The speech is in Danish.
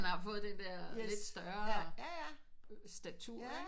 At han har fået den der lidt større statur ikke